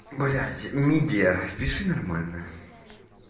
блять мидия пиши нормально